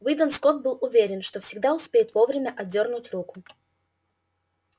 уидон скотт был уверен что всегда успеет вовремя отдёрнуть руку